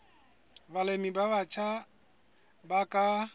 balemi ba batjha ba ka